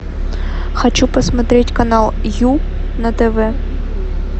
хочу посмотреть канал ю на тв